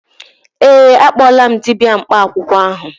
Ee, akpọọla m dibịa mkpa akwụkwọ ahụ.